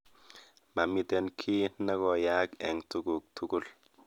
Mamiten kiiy negoyaak eng tuguk tugul